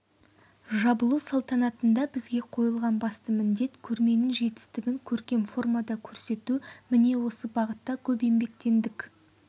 жабылу салтанатында бізге қойылған басты міндет көрменің жетістігін көркем формада көрсету міне осы бағытта көп еңбектендік